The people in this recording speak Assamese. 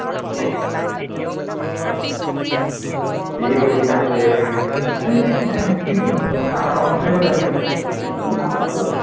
সি বা কি কাম কৰি আছে নাই কথা পাতি থাকিব লাগিব ন